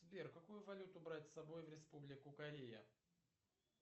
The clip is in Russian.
сбер какую валюту брать с собой в республику корея